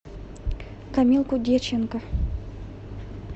камилку дьяченко